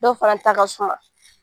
Dɔw fana ta ka suma.